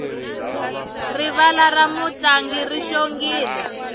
rivala ra mintlangu ri xongile